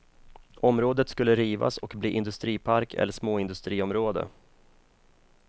Området skulle rivas och bli industripark eller småindustriområde.